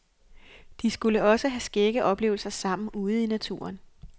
De skulle også have skægge oplevelser sammen ude i naturen.